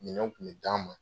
Minɛn kun be d'an ma